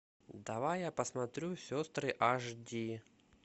давай я посмотрю сестры аш ди